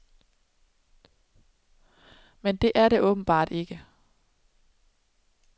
Men det er det åbenbart ikke.